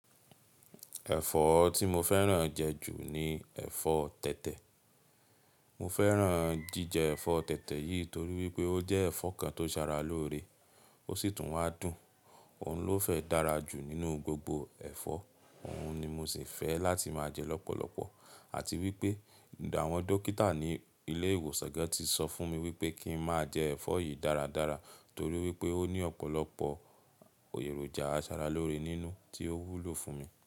Ẹ̀fọ́ tí mo fẹ́ràn jẹ ju ni ẹ̀fọ́ tẹ̀tẹ̀. Mo fẹ́ràn jíjẹ ẹ̀fọ́ tẹ̀tẹ̀ yìí torí wípé ó jẹ́ ẹ̀fọ́ kan tó ṣara lóore, ó ṣì tún wá dùn. Òun ló fẹ́ dára jù nínú gbogbo ẹ̀fọ́, òun ni mo sì fẹ́ láti máa jẹ lọ́pọ̀lọpọ̀. Àti wípé àwọn dókítà ní ilé ìwòsàn gan tì sọ fún mi wípé kí n máa jẹ ẹ̀fọ́ yìí dáradára torí wípé ó ní ọ̀pọ̀lọpọ̀ èròjà aṣaralóore nínú tí ó wúlò fún mi.